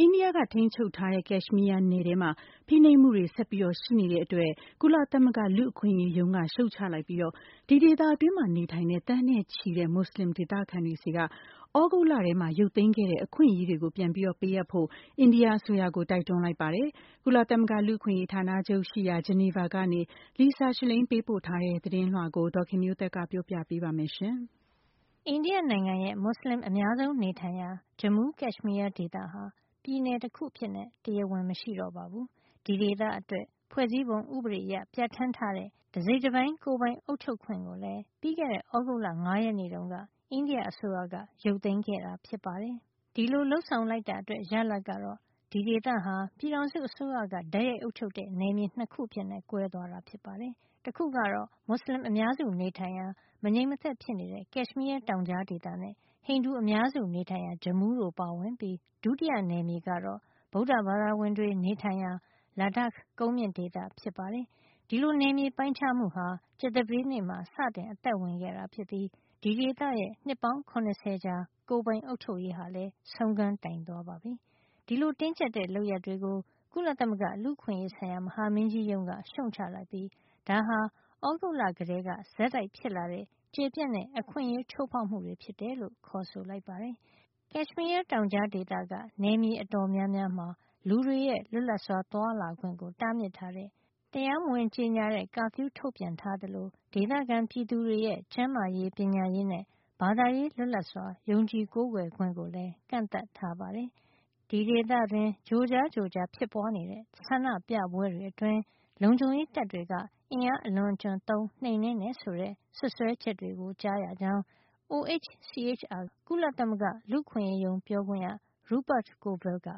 အိန္ဒိယ ထိန်းချုပ်ထားတဲ့ Kashmir နယ်ထဲမှာ ဖိနှိပ်မှုတွေ ဆက်ပြီးရှိနေတဲ့အတွက် ကုလသမဂ္ဂ လူ့အခွင့်ရေးရုံးက ရှုတ်ချလိုက်ပြီး ဒီဒေသတွင်းနေထိုင်တဲ့ သန်းနဲ့ချီတဲ့ မွတ်ဆလင်ဒေသခံတွေ ဆီက သြဂုတ်လထဲမှာ ရုပ်သိမ်းခဲ့တဲ့ အခွင့်ရေးတွေကို ပြန်လည်ပေးအပ်ဖို့ အိန္ဒိယအစိုးရကို တိုက်တွန်းလိုက်ပါတယ်။ ကုလသမဂ္ဂ လူ့အခွင့်ရေး ဌာနချုပ်ရှိရာ ဂျနီဗာကနေ Lisa Schlein ပေးပို့ထားတဲ့ သတင်းကို ဒေါ်ခင်မျိုးသက်က ပြောပြပေးမှာပါ။ အိန္ဒိယနိုင်ငံရဲ့ မွတ်စလင်အများဆုံး နေထိုင်ရာ Jammu – Kashmir ဒေသဟာ ပြည်နယ်တခု အဖြစ် တရားဝင် မရှိတော့ပါဘူး။ ဒီဒေသအတွက် ဖွဲ့စည်းပုံဥပဒေအရ ပြဌာန်းထားတဲ့ တစိတ်တပိုင်း ကိုယ်ပိုင် အုပ်ချုပ်ခွင့်ကိုလည်း ပြီးခဲ့တဲ့ သြဂုတ်လ ၅ ရက်နေ့တုန်းက အိန္ဒိယအစိုးရက ရုပ်သိမ်းခဲ့တာ ဖြစ်ပါတယ်။ ဒီလို လုပ်ဆောင်လိုက်တာအတွက် ရလဒ်ကတော့ ဒီဒေသဟာ ပြည်ထောင်စုအစိုးရက တိုက်ရိုက် အုပ်ချုပ်တဲ့ နယ်မြေ ၂ ခု အဖြစ် ကွဲသွားတာပါ။ တခုကတော့ မွတ်စလင် အများစုနေထိုင်ရာ မငြိမ်မသက်ဖြစ်နေတဲ့ Kashmir တောင်ကြားဒေသနဲ့ ဟိန္ဒူအများစုနေထိုင်ရာ Jammu တို့ပါဝင်ပြီး ဒုတိယနယ်မြေကတော့ ဗုဒ္ဓဘာသာဝင်တွေ နေထိုင်ရာ Ladakh ကုန်းမြင့်ဒေသ ဖြစ်ပါတယ်။ ဒီလိုနယ်မြေ ပိုင်းခြားမှုဟာ ကြာသပတေးနေ့မှာ စတင်အသက်ဝင်ခဲ့ပြီး ဒီဒေသရဲ့ နှစ်ပေါင်း ၇၀ ကြာ ကိုယ်ပိုင်အုပ်ချုပ်ရေးဟာလည်း ဆုံးခန်းတိုင်သွားပါပြီ။ ဒီလို တင်းကြပ်တဲ့ လုပ်ရပ်တွေကို ကုလသမဂ္ဂလူ့အခွင့်အရေး ဆိုင်ရာ မဟာမင်းကြီး ရုံးက ရှုတ်ချလိုက်ပြီး ဒါဟာ သြဂုတ်လကတည်းက ဆက်တိုက်ဖြစ်လာခဲ့တဲ့ ကျယ်ပြန့်တဲ့ အခွင့်အရေးချိုးဖောက်မှုတွေ ဖြစ်တယ်လို့ ခေါ်ဆိုလိုက်ပါတယ်။ Kashmir တောင်ကြားက နယ်မြေတော်တော်များများမှာ လူတွေရဲ့ လွတ်လပ်စွာ သွားလာခွင့်ကို တားမြစ်တဲ့ တရားဝင် ကြေညာ မထားတဲ့ curfew ထုတ်ပြန်ထား သလို ဒေသခံပြည်သူတွေရဲ့ ကျန်းမာရေး၊ ပညာရေးနဲ့ ဘာသာရေးလွတ်လပ်စွာ ယုံကြည်ကိုးကွယ်ခွင့်ကိုလည်း ကန့်သတ်ထားပါတယ်။ ဒီဒေသတွင်း ကြိုကြားကြိုကြား ဖြစ်ပွားနေတဲ့ ဆန္ဒပြပွဲတွေအတွင်း လုံခြုံရေးတပ်တွေက အင်အားအလွန်အကျွံသုံး နှိမ်နင်းတယ်ဆိုတဲ့ စွပ်စွဲချက်တွေကို ကြားရကြောင်း OHCHR က ကုလသမဂ္ဂ လူ့အခွင့်ရေးရုံးပြောခွင့်ရ Rupert Colville က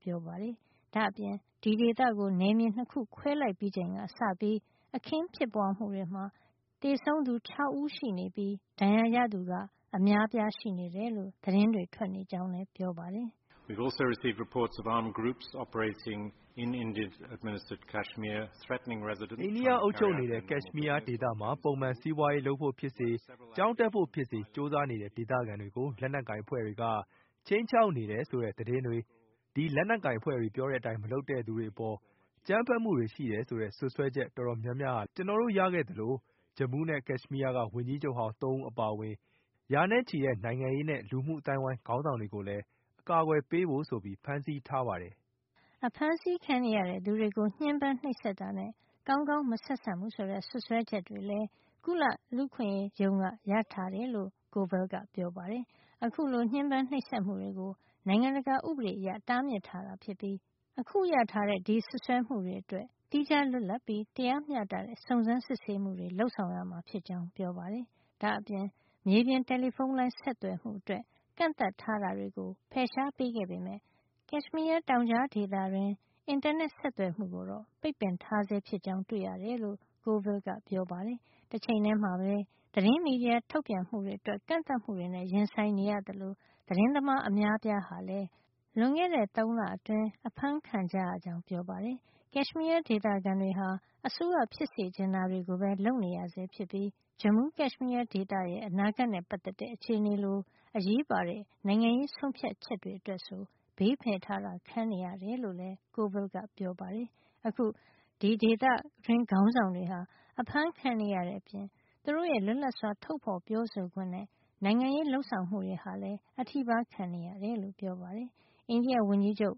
ပြောပါတယ်။ ဒါ့အပြင် ဒီဒေသကို နယ်မြေ ၂ ခုခွဲလိုက်ပြီးချိန်ကစပြီး အခင်းဖြစ်ပွားမှုတွေမှာ သေဆုံးသူ ၆ ဦးရှိနေပြီး ဒဏ်ရာရသူက အများအပြား ရှိနေတယ်လို့ သတင်းတွေ ထွက်နေကြောင်းလည်း ပြောပါတယ်။ “အိန္ဒိယ အုပ်ချုပ်နေတဲ့ Kashmir ဒေသမှာ ပုံမှန်စီးပွါးရေးလုပ်ဖို့ဖြစ်စေ ကျောင်းတက်ဖို့ဖြစ်စေ ကြိုးစားနေတဲ့ ဒေသခံတွေကို လက်နက်ကိုင် အဖွဲ့တွေက ခြိမ်းခြောက်တယ်ဆိုတဲ့ သတင်းတွေ၊ ဒီလက်နက်ကိုင်အဖွဲ့တွေ ပြောတဲ့အတိုင်းမလုပ်တဲ့ သူတွေအပေါ် အကြမ်းဖက်မှုတွေ ရှိတယ်ဆိုတဲ့ စွပ်စွဲချက် အတော်များများလည်း ကျနော်တို့ရခဲ့သလို Jammu နဲ့ Kashmir က ဝန်ကြီးချုပ်ဟောင်း ၃ ဦး အပါအဝင် ရာနဲ့ချီတဲ့ နိုင်ငံရေးနဲ့ လူမှုအသိုင်းဝိုင်း ခေါင်းဆောင်တွေကိုလည်း အကာကွယ်ပေးဖို့ဆိုပြီး ဖမ်းဆီးထားပါတယ်။” အဖမ်းဆီးခံနေရတဲ့ သူတွေကို ညှဉ်းပမ်းနှိပ်စက်တာနဲ့ ကောင်းကောင်းမဆက်ဆံဘူး ဆိုတဲ့ စွပ်စွဲချက်တွေလည်း ကုလလူ့အခွင့်ရေးရုံးက ရထားတယ်လို့ Colville က ပြောပါတယ်။ အခုလို ညှဉ်းပမ်းနှိပ်စက်မှုကို နိုင်ငံတကာဥပဒေအရ တားမြစ်ထားတာ ဖြစ်ပြီး အခုရထားတဲ့ ဒီစွပ်စွဲမှုတွေ အတွက် သီးခြားလွတ်လပ်ပြီး တရားမျှတတဲ့ စုံစမ်းစစ်ဆေးမှုတွေ လုပ်ဆောင်ရမှာ ဖြစ်ကြောင်း ပြောပါတယ်။ ဒါ့အပြင် မြေပြင် တယ်လီဖုံးလိုင်း ဆက်သွယ်မှုအတွက် ကန့်သတ်ထားတာတွေကို ဖယ်ရှား ပေးခဲ့ပေမယ့် Kashmir တောင်ကြားဒေသ တွင်း အင်တာနက်ဆက်သွယ်မှု ကိုတော့ ပိတ်ပင်ထားဆဲ ဖြစ်ကြောင်း တွေ့ရတယ်လို့ Colville ကပြောပါတယ်။ တချိန်ထဲမှာပဲ သတင်းမီဒီယာ ထုတ်ပြန်မှုတွေ အတွက် ကန့်သတ်မှုတွေနဲ့ ရင်ဆိုင်နေရသလို သတင်းသမား အများအပြားဟာလည်း လွန်ခဲ့တဲ့ ၃ လအတွင်း အဖမ်းဆီး ခံကြရကြောင်း ပြောပါတယ်။ Kashmir ဒေသခံတွေဟာ အစိုးရ ဖြစ်စေချင်တာတွေကိုပဲ လုပ်နေရဆဲဖြစ်ပြီး Jammu – Kashmir ဒေသရဲ့ အနာဂတ်နဲ့ ပတ်သက်တဲ့ အခြေအနေလို အရေးပါတဲ့ နိုင်ငံရေး ဆုံးဖြတ်ချက်တွေ အတွက်ဆို ဘေးဖယ်ထားတာ ခံနေရတယ် လို့လည်း Coville ကပြောပါတယ်။ အခု ဒေသတွင်း ခေါင်းဆောင်တွေဟာ အဖမ်းခံနေရတဲ့အပြင် သူတို့ရဲ့ လွတ်လပ်စွာ ထုတ်ဖေါ်ပြောဆိုခွင့်နဲ့ နိုင်ငံရေးလုပ်ဆောင်မှုတွေ ဟာလည်း အထိပါးခံနေရတယ်လို့ ပြောပါတယ်။ အိန္ဒိယဝန်ကြီးချုပ်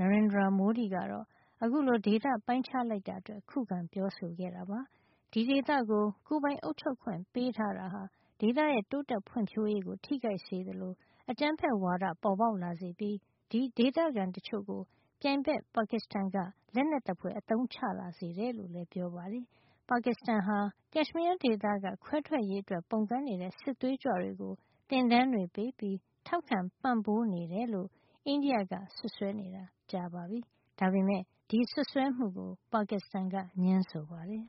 Narendra Modi ကတော့ အခုလို ဒေသ ပိုင်းခြားလိုက်တာအတွက် ခုခံပြောဆိုခဲ့တာပါ။ ဒီဒေသကို ကိုယ်ပိုင်အုပ်ချုပ်ခွင့် ပေးထားတာဟာ ဒေသရဲ့ တိုးတက်ဖွံ့ဖြိုးရေးကို ထိခိုက်စေသလို အကြမ်းဖက်ဝါဒ ပေါ်ပေါက်လာစေပြီး ဒီဒေသခံ တချို့ကို ပြိုင်ဘက် ပါကစ္စတန်က လက်နက်သဖွယ်အသုံးချ လာစေတယ်လို့ ပြောပါတယ်။ ပါကစ္စတန်ဟာ Kashmir ဒေသက ခွဲထွက်ရေးအတွက် ပုန်ကန်တဲ့ စစ်သွေးကြွတွေကို သင်တန်းတွေ ပေးပြီး ထောက်ခံပံ့ပိုးနေတယ်လို့ အိန္ဒိယက စွပ်စွဲနေတာ ကြပါပြီ။ ဒါပေမယ့် ဒီစွပ်စွဲမှုကို ပါကစ္စတန်က ငြင်းဆိုပါတယ်။